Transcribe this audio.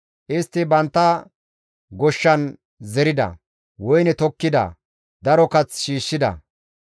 Istti bantta goshshan zerida; woyne tokkida; daro kath shiishshida.